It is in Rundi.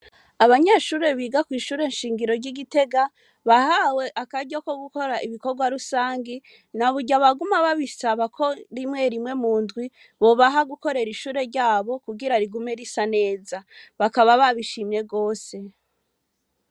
Abanyeshure biga kw'ishure shingiro ry'i Gitega, bahawe akaryo ko gukora ibikorwa rusangi, na burya baguma babisaba ko rimwe rimwe mu ndwi, bobaha gukorera ishure ryabo, kugira rigume risa neza. Bakaba babishimye gose.